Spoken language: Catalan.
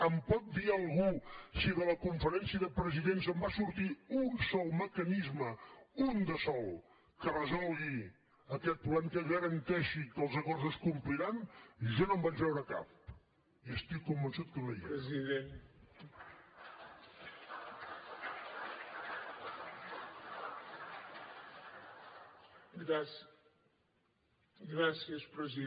em pot dir algú si de la conferència de presidents en va sortir un sol mecanisme un de sol que resolgui aquest problema que garanteixi que els acords es compliran jo no en vaig veure cap i estic convençut que no hi era